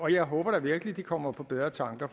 jeg håber virkelig at de kommer på bedre tanker